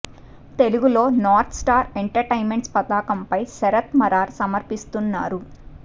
తెలుగులో North Star Entertainments పతాకంపై శరత్ మరార్ సమర్పిస్తున్నారు